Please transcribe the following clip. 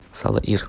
салаир